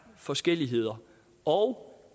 forskelligheder og